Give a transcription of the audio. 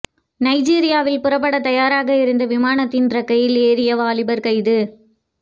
நைஜீரியாவில் புறப்பட தயாராக இருந்த விமானத்தின் இறக்கையில் ஏறிய வாலிபர் கைது